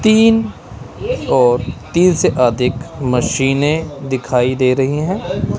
तीन और तीन से अधिक मशीने दिखाई दे रही हैं।